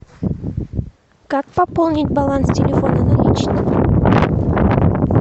как пополнить баланс телефона наличными